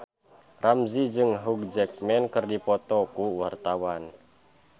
Ramzy jeung Hugh Jackman keur dipoto ku wartawan